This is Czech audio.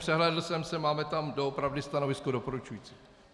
Přehlédl jsem se, máme tam opravdu stanovisko doporučující.